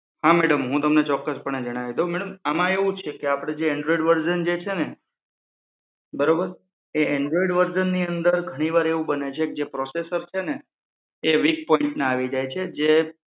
હા madam હું તમને ચોક્કસપણે જણાવી દઉં madam આમાં એવું છે કે જે એન્ડ્રોઇડ વર્ઝન જે છે ને બરોબર હા એ એન્ડ્રોઇડ વર્ઝનની અંદર ધણીવાર એવું બને છે કે જે processor વીક પોઈન્ટના આવી જાય છે એ.